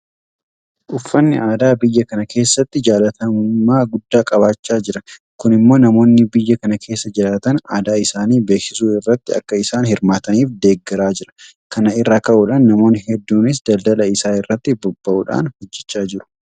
Uffanni aadaa biyya kana keessatti jaalatamummaa guddaa qabaachaa jira. Kun immoo namoonni biyya kana keessa jiraatan aadaa isaanii beeksisuu irratti akka isaan hirmaataniif deeggaraa jira. Kana irraa ka'uudhaan namoonni hedduunis daldala isaa irratti bobba'uudhaan hojjechaa jiru.